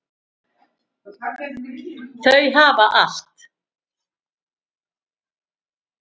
Þau hafa allt.